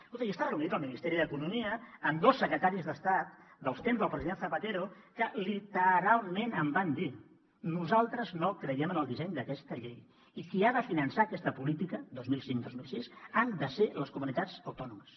escolta he estat reunit amb el ministeri d’economia amb dos secretaris d’estat dels temps del president zapatero que literalment em van dir nosaltres no creiem en el disseny d’aquesta llei i qui ha de finançar aquesta política dos mil cinc dos mil sis han de ser les comunitats autònomes